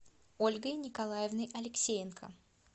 ольгой николаевной алексеенко